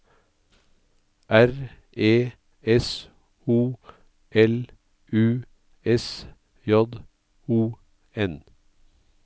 R E S O L U S J O N